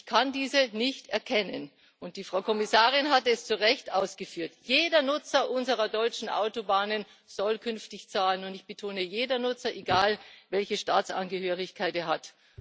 Ich kann diese nicht erkennen, und die Frau Kommissarin hat es zu Recht ausgeführt Jeder Nutzer unserer deutschen Autobahnen soll künftig zahlen, und ich betone jeder Nutzer egal, welche Staatsangehörigkeit er hat.